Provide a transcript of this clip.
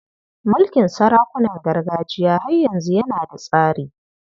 Mulkin sarakunan gargajiya har yanzu yana da tsari.